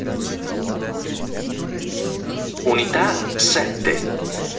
унитаз ст